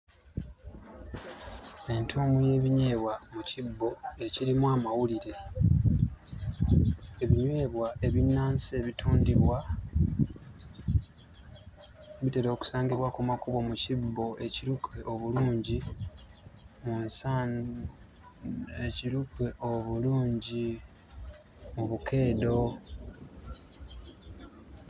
Entuumu y'ebinyeebwa mu kibbo ekirimu amawulire. Ebinyeebwa ebinnansi ebitundibwa bitera okusangibwa ku makubo mu kibbo ekiruke obulungi mu nsaani ekiruke obulungi obukeedo.